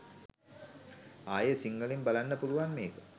ආයේ සිංහලෙන් බලන්න පුලුවන් මේක.